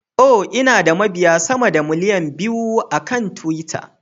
Oh, Ina da mabiya sama da miliyan biyu akan twitter.